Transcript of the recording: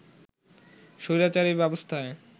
স্বৈরাচারী ব্যবস্থায়